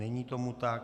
Není tomu tak.